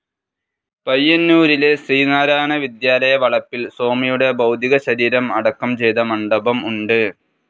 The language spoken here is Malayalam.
പയ്യന്നൂരിലെ ശ്രീനാരായണ വിദ്യാലയവളപ്പിൽ സ്വാമിയുടെ ഭൗതിക ശരീരം അടക്കം ചെയ്ത മണ്ഡപം ഉണ്ട്.